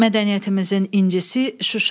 Mədəniyyətimizin incisi Şuşa.